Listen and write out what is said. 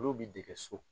Olu bi dege so